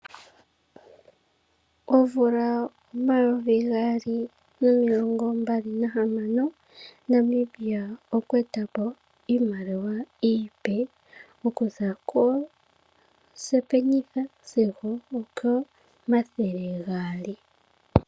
Omvula omayovi gaali nomilongombali nahamano Namibia okwa eta po iimaliwa iipe okuza kosipenitha sigo okomathele gaali.